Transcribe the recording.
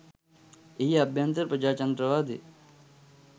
එහි අභ්‍යන්තර ප්‍රජාතන්ත්‍රවාදය